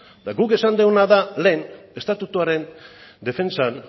guk esan duguna da lehen estatutuaren defentsan